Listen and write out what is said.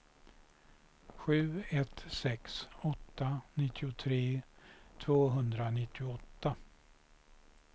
sju ett sex åtta nittiotre tvåhundranittioåtta